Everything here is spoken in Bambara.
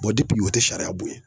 wa o tɛ sariya bonyɛ.